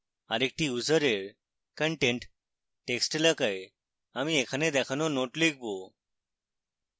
আরেকটি ইউসারের content text এলাকায় আমি এখানে দেখানো note লিখব